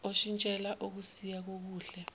oshintshela okusikuya kokuhle